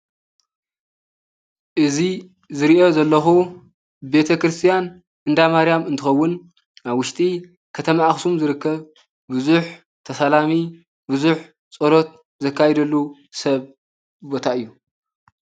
እዚ ዝሪኦ ዘለኹ ቤተ ክርስቲያን እንዳማርያም እንትኸውን ኣብ ውሽጢ ከተማ ኣኽሱም ዝርከብ ብዙሕ ተሳላሚ ብዙሕ ፀሎት ዘካይድሉ ሰብ ቦታ እዩ፡፡